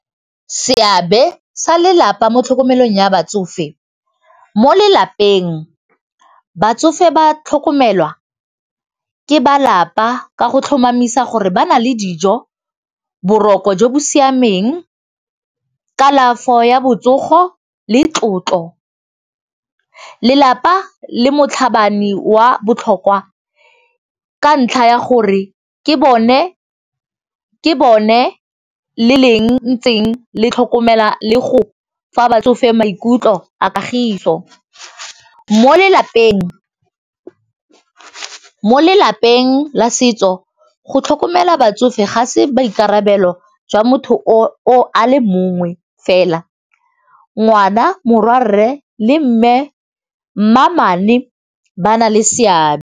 Seabe sa lelapa mo tlhokomelong ya batsofe, mo lelapeng batsofe ba tlhokomelwa ke ba lapa ka go tlhomamisa gore ba na le dijo, boroko jo bo siameng, kalafo ya botsogo le tlotlo. Lelapa le motlhabane wa botlhokwa ka ntlha ya gore ke bone le leng ntseng le tlhokomela le go fa batsofe maikutlo a kagiso. Mo lelapeng la setso go tlhokomela batsofe gase baikarabelo jwa motho a le mongwe fela ngwana morwarre le mmamane ba na le seabe.